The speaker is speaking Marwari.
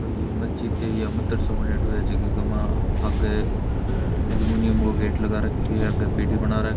कोई मस्जिद या मदरसाे बणयोड़ो है जकी के मा आगे एल्मूनियम काे गेट लगा राख्यो है आगे पेड़ी बना --